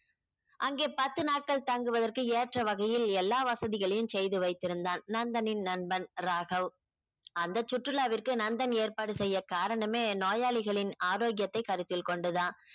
அங்கே பத்து நாட்கள் தங்குவதற்கு ஏற்ற வகையில் எல்லா வசதிகளையும் செய்து வைத்திருந்தான் நந்தினின் நண்பன் ராகவ் அந்த சுற்றுலாவிற்கு நந்தன் ஏற்பாடு செய்ய காரணமே நோயாளிகளின் ஆரோக்கியத்தை கருத்தில் கொண்டு தான்